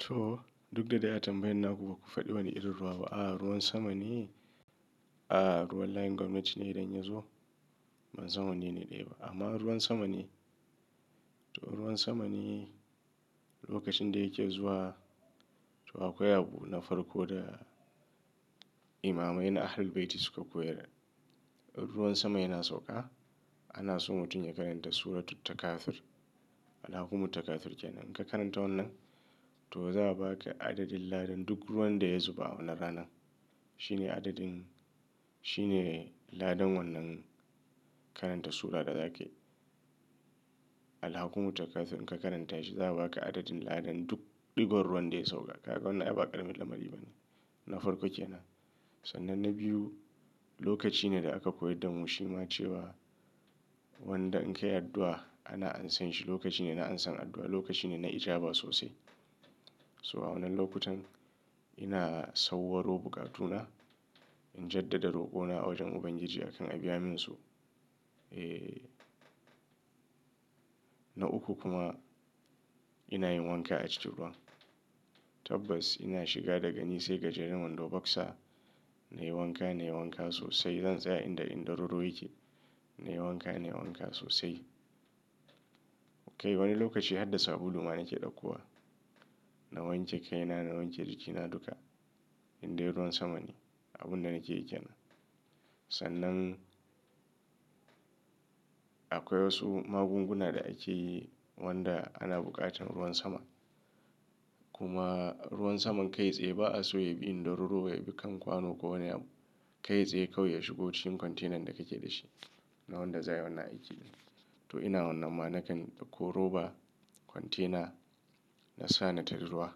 To duk da dai atambayan na kuka faɗi wa ne irin ruwa? A'a ruwan sama ne, a'a ruwan layin gwamnati ne idan yazo ban san wanene ne ba. Amma ruwan sama ne, to ruwan sama ne lokacin da yake zuwa, to akwai abu na farko da imamai na Ahlul Bayti suka koyar. In ruwan sama yana sauka ana so mutum ya karanta suratul Takathur. Alhakumut Takathur kenan. In ka karanta wannan to za a baka adadin ladan duk ruwan da ya zuba a wannan ranan. Amma ruwan sama ne, to ruwan sama ne lokacin da yake zuwa, to akwai abu na farko da imamai na Ahlul Bayti suka koyar. In ruwan sama yana sauka ana so mutum ya karanta suratul Takathur. Alhakumut Takathur in ka karanta shi za'a baka adadin ladan duk ɗigon ruwan da ya sauka. Kaga wannan ai ba ƙaramin lamari ba ne. Na farko kenan. Sannan na biyu lokaci ne da aka koyar da mu shi ma cewa wanda in ka yi addu'a ana ansan shi, lokaci ne na ansan addu'a, lokaci ne na ijaba sosai. So a wannan lokutan ina sauwaro buƙatu na, in jaddada roƙo na a wajen Ubangiji akan a biya min su. Eh. Na uku kuma ina yin wanka a cikin ruwan. Tabbas ina shiga daga ni sai ga jirgin wando boxer nayi wanka nayi wanka sosai. Zan tsaya inda indararo yake nayi wanka nayi wanka sosai. Kai wani lokaci har da sabulu ma na ke ɗauka. Na wanke kai na, na wanke jiki na duka in dai ruwan sama ne abun da nake yake nan. Sannan akwai wasu magunguna da ake yi wanda ana buƙatar ruwan sama. Kuma ruwan saman kai tsaye ba a so ya bi indararo ya bi kan kwano ko wane abu. Kai tsaye kawai ya shigo cikin kwantenan da kake da shi na wanda zai yi wannan aiki. To ina wannan ma na kan ɗauko roba, kwantena na sa na tarar ruwa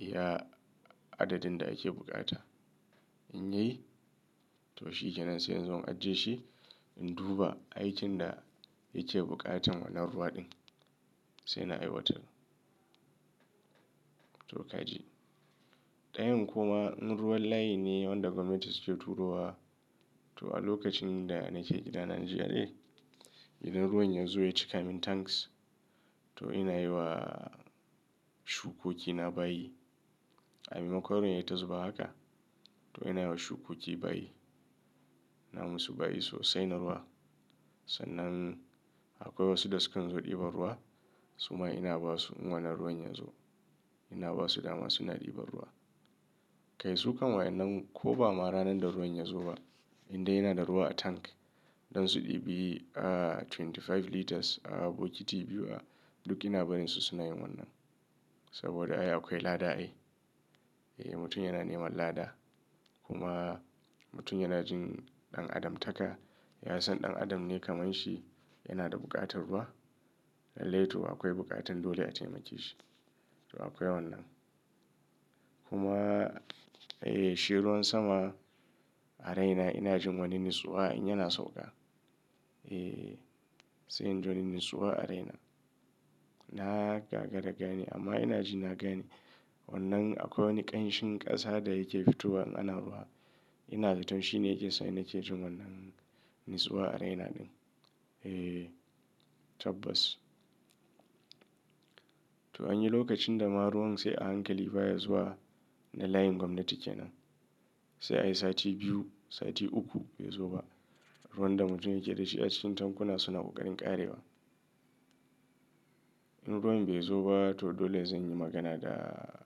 iya adadin da ake buƙata. In yayi to shi kenan sai yanzu an ajje shi in duba aikin da yake buƙatan wannan ruwa ɗin sai na aiwatar. To kaji. Ɗayan kuma in ruwan layi ne wanda gwamnati suke turo wa to a lokacin da nake gida a Nigeria idan ruwan ya zo ya cika min tanks to ina yi wa shukoki na bayi. A maimakwan ruwan ya ta zuba haka to ina yi wa shukoki bayi. Na musu bayi sosai na ruwa. Sannan akwai wasu da sukan zo ɗiban ruwa suma ina ba su wannan ruwan yazo. Ina ba su dama suna ɗiba ruwa. Kai su kanwa idan ko ba ma ranan da ruwan ya zo ba inda yana da ruwa a tank don su ɗibi a ashirin da biyar litres a bokiti biyu a duk ina barin su suna yin wannan. Saboda ai akwai lada ai. Eh mutum yana neman lada. Kuma mutum yana jin ɗan adam taka ya san ɗan adam ne kamar shi yana da buƙatar ruwa. Lallai to akwai buƙatan dole a taimake shi. To akwai wannan. Kuma eh shi ruwan sama a raina ina jin wannan natsuwa in yana sauka. Eh sai in ji wani natsuwa a raina. Na gagara gane amma ina ji na gane wannan akwai wani ƙanshin ƙasa da yake fitowa anan ruwa. Ina zato shi ne yake sa ina ke jin wannan natsuwa a raina ɗin. Eh tabbas. To anyi lokacin da ma ruwan sai a hankali baya zuwa na layin gwamnati kenan. Sai ai sati biyu, sati uku bai zo ba. Ruwan da mutum yake da shi a cikin tankuna suna ƙoƙarin ƙarewa. In ruwan bai zo ba to dole zan yi magana da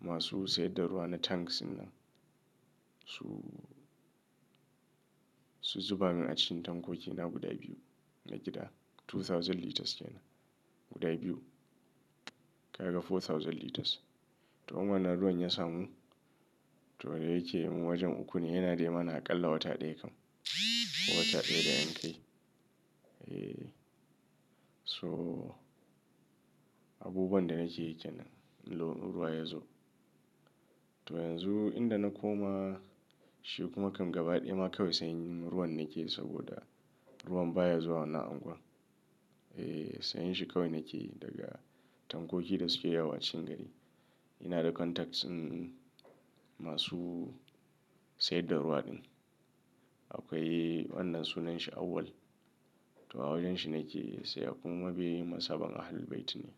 masu sayar da ruwa na tanks nan. Su, su zuba min a cikin tankokina guda biyu na gida. dubu biyu litres kenan. Guda biyu. Kaga dubu huɗu litres. To in wannan na ruwan ya samu to da yake wajen uku ne yana daina aƙalla wata ɗaya kam. Wata ɗaya da yan kai. Eh so abubuwan da nake yi kenan in ruwa ya zo. To yanzu inda na koma shi kuma kam gaba ɗaya ma kawai sayan ruwan nake saboda ruwan baya zuwa nan unguwar. Eh sayan shi kawai nake daga tankoki da suke yawo a cikin gari. Ina da contacts din masu sayar da ruwa ɗin. Akwai wannan sunan shi Awwal to a wajen shi nake sayan kuma mabiyin mazhaban Ahlul Bayt ne.